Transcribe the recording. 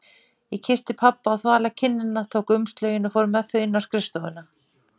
Ég kyssti pabba á þvala kinnina, tók umslögin og fór með þau inn á skrifstofuna.